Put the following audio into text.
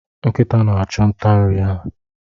Nkịta na-achụ nta nri ha.